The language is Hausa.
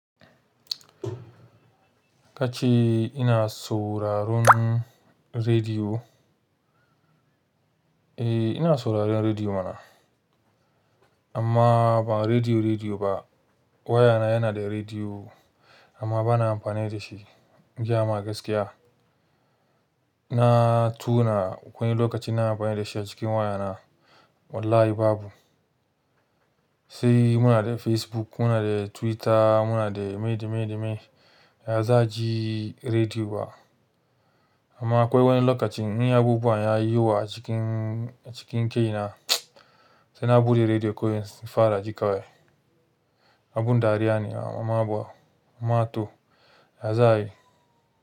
Ka ce ina sauraron rediyo? Eh, ina sauraron rediyo mana. Amma ba rediyo, rediyo ba. Wayana yana da rediyo amma ba na amfani da shi. In gaya ma gaskiya, na tuna akwai lokaci na amfani da shi a cikin wayana. Wallahi babu. Sai muna da Facebook, muna da Twitter, muna da me da me da me. Ya za'a ji rediyo ba? Amma akwai wani lokacin in abubuwa ya yiwu a cikin, a cikin kai na sai na buɗe rediyo ko in fara ji kawai. Abinda dariya ne amma toh ya za'a yi.